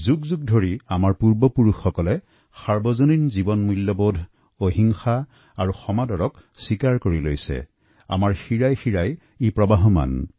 প্ৰাচীনকালৰ পৰা আমাৰ পূৰ্বসূৰীসকলে যি সাৰ্বজনীন মূল্যবোধ অহিংসা সম্প্ৰীতিৰ বান্ধেৰে লালিত হৈ আহিছে সেইবোৰ আমাৰ জীৱনৰ সৈতে জড়িত হৈ পৰিছে